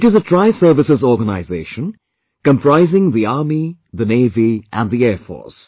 It is a Triservices organization comprising the Army, the Navy and the Air Force